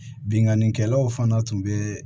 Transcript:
Binnkannikɛlaw fana tun bɛ